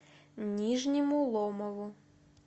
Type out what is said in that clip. нижнему ломову